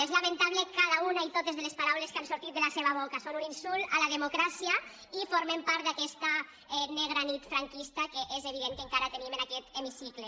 mentable cada una i totes de les paraules que han sortit de la seva boca són un insult a la democràcia i formen part d’aquesta negra nit franquista que és evident que encara tenim en aquest hemicicle